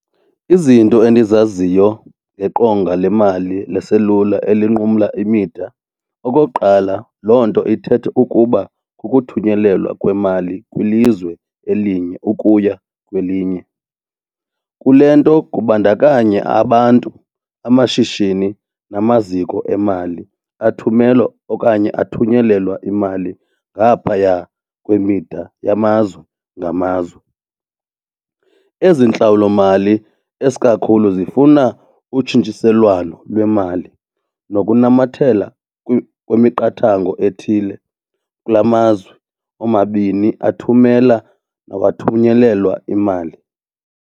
Izinto endizaziyo ngeqonga lemali leselula elinqumla imida, okokuqala loo nto ithetha ukukuba kukuthunyelelwa kwemali kwilizwe elinye ukuya kwelinye. Kule nto kubandakanya abantu, amashishini namaziko emali athumelo okanye athunyelelwa imali ngaphaya kwemida yamazwe ngamazwe. Ezi ntlawulomali esikakhulu zifuna utshintshiselwano lwemali nokunamathela kwemiqathango ethile kula mazwe omabini athumela or athunyelelwa imali.